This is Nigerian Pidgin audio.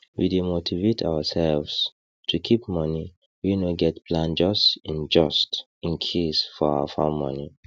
we dey motivate ourselves to keep money wey no get plan just in just in case for our farm money